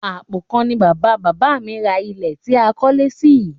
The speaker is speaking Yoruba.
Àpò kan ni bàbá bàbà mi ra ilé tí a kólé sí yìí